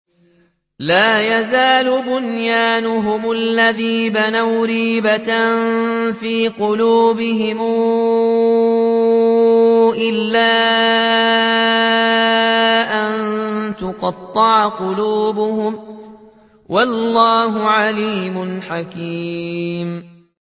لَا يَزَالُ بُنْيَانُهُمُ الَّذِي بَنَوْا رِيبَةً فِي قُلُوبِهِمْ إِلَّا أَن تَقَطَّعَ قُلُوبُهُمْ ۗ وَاللَّهُ عَلِيمٌ حَكِيمٌ